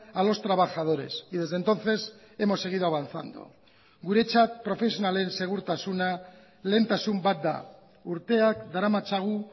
a los trabajadores y desde entonces hemos seguido avanzando guretzat profesionalen segurtasuna lehentasun bat da urteak daramatzagu